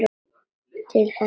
Til þess að sjást aldrei.